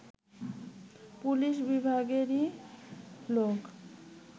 police বিভাগেরই লোক